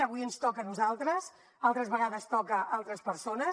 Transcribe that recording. avui ens toca a nosaltres altres vegades toca a altres persones